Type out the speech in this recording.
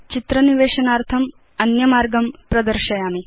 चित्र निवेशनार्थम् अन्यमार्गं प्रदर्शयामि